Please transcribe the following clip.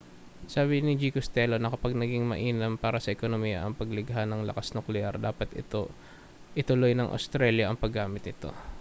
sinabi ni g costello na kapag naging mainam para sa ekonomiya ang paglikha ng lakas-nukleyar dapat ituloy ng australya ang paggamit nito